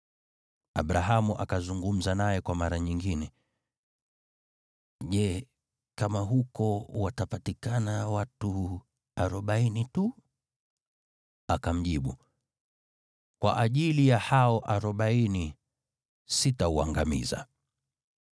Abrahamu akazungumza naye kwa mara nyingine, “Je, kama huko watapatikana watu arobaini tu?” Akamjibu, “Kwa ajili ya hao arobaini, sitauangamiza.”